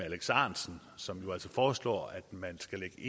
alex ahrendtsen som altså foreslår at man skal